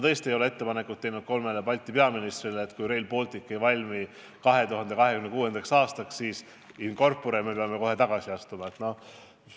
Küll aga ei ole ma ühelegi Balti peaministrile teinud ettepanekut, et kui Rail Baltic 2026. aastaks ei valmi, siis astume kohe in corpore tagasi.